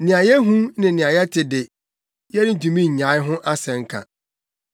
Nea yɛahu ne nea yɛate de, yɛrentumi nnyae ho asɛnka.”